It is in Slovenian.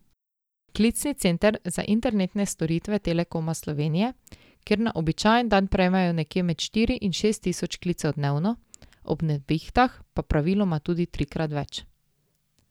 Klicni center za internetne storitve Telekoma Slovenije, kjer na običajen dan prejmejo nekje med štiri in šest tisoč klicev dnevno, ob nevihtah pa praviloma tudi trikrat več.